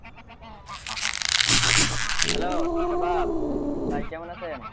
Hello Shabab ভাই কেমন আছেন?